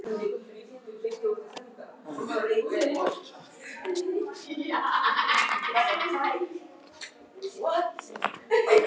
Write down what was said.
Og Júlía gefst upp.